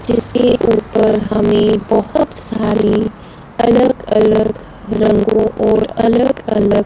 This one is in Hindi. जिसके ऊपर हमें बहुत सारी अलग अलग रंगों और अलग अलग--